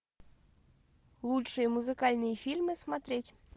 лучшие музыкальные фильмы смотреть